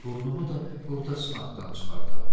Burnumu da orda sınaqdan çıxardaram.